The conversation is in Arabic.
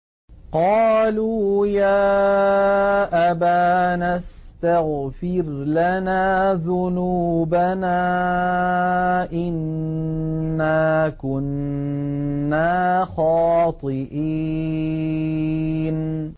قَالُوا يَا أَبَانَا اسْتَغْفِرْ لَنَا ذُنُوبَنَا إِنَّا كُنَّا خَاطِئِينَ